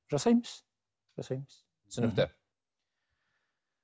жасаймыз жасаймыз түсінікті